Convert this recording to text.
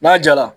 N'a jala